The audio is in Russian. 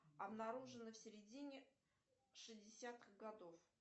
обнаружено в середине шестидесятых годов